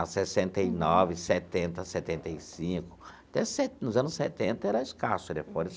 Sessenta e nove, setenta, setenta e cinco, até se nos anos setenta era escasso os telefones.